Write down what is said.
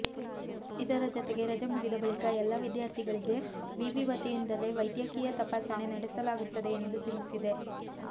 ಇದರ ಜತೆಗೆ ರಜೆ ಮುಗಿದ ಬಳಿಕ ಎಲ್ಲ ವಿದ್ಯಾರ್ಥಿಗಳಿಗೆ ವಿವಿ ವತಿಯಿಂದಲೇ ವೈದ್ಯಕೀಯ ತಪಾಸಣೆ ನಡೆಸಲಾಗುತ್ತದೆ ಎಂದು ತಿಳಿಸಿದೆ